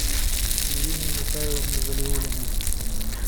ириной михайловной валиуллиной